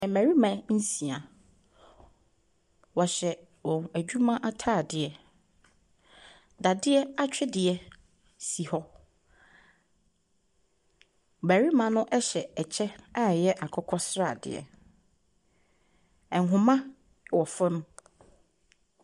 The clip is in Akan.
Mmarima nsia. Wɔhyɛ wɔn adwuma ataadeɛ. Dadeɛ atwedeɛ si hɔ. Barima no ɛhyɛ ɛkyɛ a ɛyɛ akokɔsradeɛ. Ɛnhoma wɔ fam.